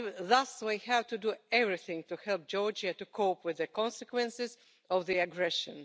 Thus, we have to do everything to help Georgia to cope with the consequences of the aggression.